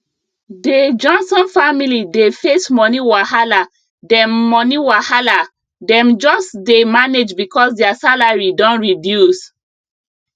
dey johnson family dey face money wahala dem money wahala dem just dey manage because their salary don reduce